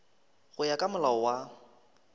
go ya ka molao wa